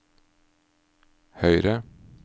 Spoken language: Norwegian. høyre